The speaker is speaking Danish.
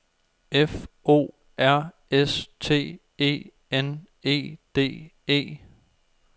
F O R S T E N E D E